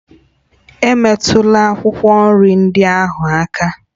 Emetụla akwụkwọ nri ndị ahụ aka!